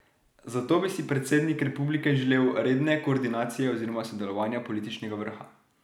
Zato bi si predsednik republike želel redne koordinacije oziroma sodelovanja političnega vrha.